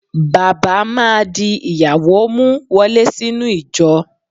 Bàbá má di ìyàwó mú wọlé sínú ìjọ.